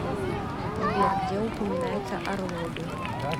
сбер где упоминается орловы